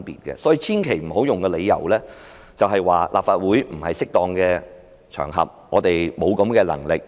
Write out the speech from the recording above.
所以，大家千萬不要以此為理由，說立法會不是適當的場合，我們沒有這種能力。